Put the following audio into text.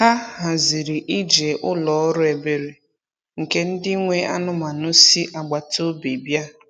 Ha haziri ije ụlọ ọrụ ebere nke ndị nwe anụmanụ si agbata obi bịa.